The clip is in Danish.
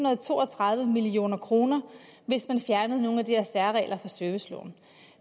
og to og tredive million kr hvis man fjernede nogle af de her særregler i serviceloven